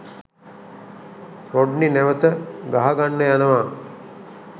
Rodney නැවත ගහගන්න යනවා.